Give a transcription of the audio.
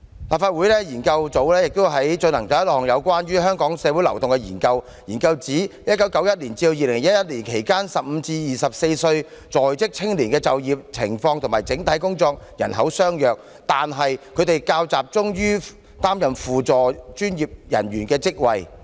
立法會資料研究組亦曾進行一項有關香港的社會流動的研究，研究指"在1991至2011年期間 ，15 至24歲在職青年的就業情況與整體工作人口相若，但他們較集中於擔任輔助專業人員的職位。